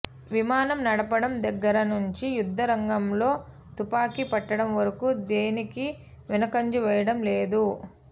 విమానం నడపడం దగ్గర నుంచి యుద్ధరంగంలో తుపాకీ పట్టడం వరకు దేనికీ వెనుకంజ వేయడం లేదు